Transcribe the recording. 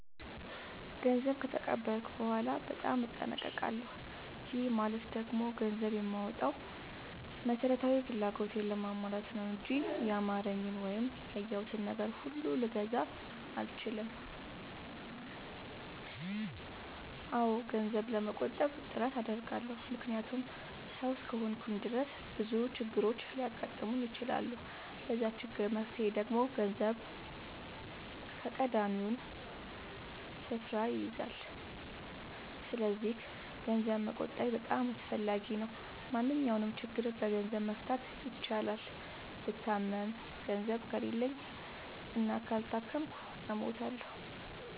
ገንዘብ ከተቀበልኩ በኋላ በጣም እጠነቀቃለሁ። ይህ ማለት ደግሞ ገንዘብ የማወጣው መሠረታዊ ፍላጎቴን ለማሟላት ነው እንጂ ያማረኝን ወይም ያየሁትን ነገር ሁሉ ልግዛ አልልም። አዎ ገንዘብ ለመቆጠብ ጥረት አደርጋለሁ። ምክንያቱም ሠው እስከሆንኩኝ ድረስ ብዙ ችግሮች ሊያጋጥሙኝ ይችላሉ። ለዛ ችግር መፍትሄ ደግሞ ገንዘብ ቀዳሚውን ስፍራ ይይዛል። ሰስለዚክ ገንዘብ መቆጠቤ በጣም አስፈላጊ ነው። ማንኛውንም ችግር በገንዘብ መፍታት ይቻላል። ብታመም ገንዘብ ከሌለኝ እና ካልታከምኩ እሞታሁ።